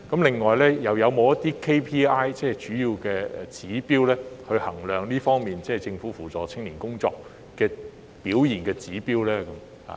此外，是否有一些主要指標來衡量政府扶助青年工作的成效呢？